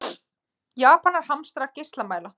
Japanar hamstra geislamæla